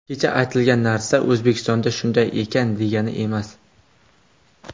Kecha aytilgan narsa O‘zbekistonda shunday ekan, degani emas.